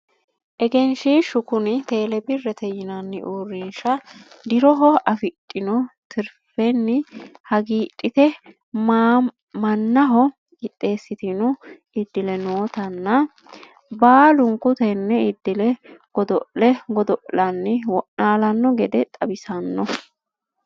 egenshiishshu kuni tele birrete yinanni uurrinsha diroho afidhino tirfenni hagiidhite mannaho qixxeessitino iddile nootanna baalunku tenne iddile godo'le godo'lanni wo'naalanno gede xawissanno.